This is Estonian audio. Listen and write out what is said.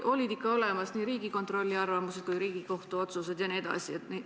Olid olemas nii Riigikontrolli arvamused kui Riigikohtu otsused.